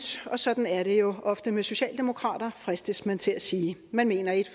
og sådan er det jo ofte med socialdemokrater fristes man til at sige man mener ét